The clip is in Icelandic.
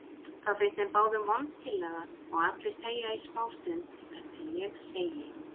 Það finnst þeim báðum vond tillaga og allir þegja í smástund þar til ég segi